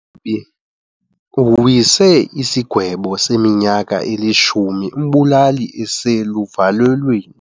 Umgwebi uwise isigwebo seminyaka elishumi umbulali eseluvalelweni.